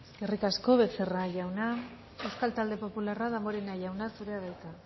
eskerrik asko becerra jauna euskal talde popularra damborenea jauna zurea da hitza